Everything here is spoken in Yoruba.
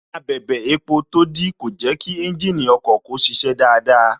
Abẹrẹ epo tó dí kò jẹ kí ẹ́ńjìnì ọkọ̀ kó ṣiṣẹ́ dáadáa